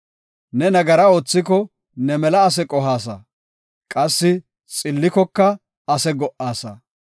Ne nagaraa oothiko ne mela ase qohaasa; qassi xillikoka ase go77aasa.